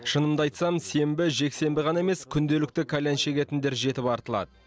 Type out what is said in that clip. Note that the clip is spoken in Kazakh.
шынымды айтсам сенбі жексенбі ғана емес күнделікті кальян шегетіндер жетіп артылады